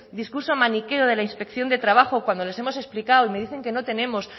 discurso maniqueo de la inspección de trabajo cuando les hemos explicado y me dicen que no tenemos